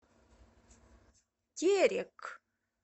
терек